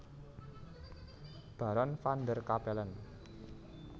Baron van der Capellen